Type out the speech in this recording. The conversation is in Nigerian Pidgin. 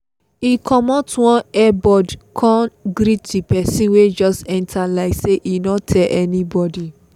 e comot one earbud cone greet the person wey just enter like say e no tell anybody